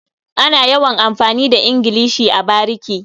Ana yawan amfani da ingilishi a bariki.